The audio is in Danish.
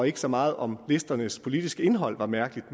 ikke så meget om listernes politiske indhold var mærkeligt